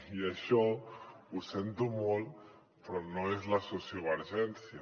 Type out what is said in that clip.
i això ho sento molt però no és la sociovergència